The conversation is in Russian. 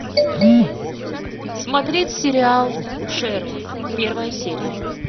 смотреть сериал шерлок первая серия